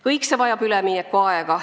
Kõik see vajab üleminekuaega.